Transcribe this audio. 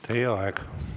Teie aeg!